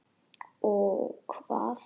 Ó hvað?